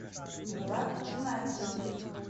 мурат геннадьевич